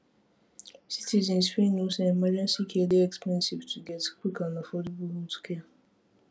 citizens fit know say emergency care dey expensive to get quick and affordable healthcare